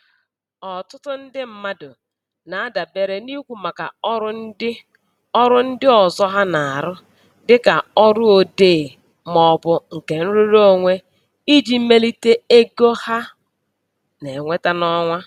Ọtụtụ ndị mmadụ na-adabere n'ikwu maka ọrụ ndị ọrụ ndị ọzọ ha na-arụ, dịka ọrụ odee maọbụ nke nrụrụonwe, iji melite ego ha na-enweta n'ọnwa.